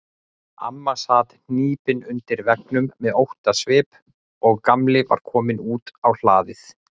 Amma sat hnípin undir veggnum með óttasvip og Gamli var kominn út á hlaðið.